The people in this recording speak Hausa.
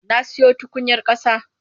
Na siyo tukunyar ƙasa.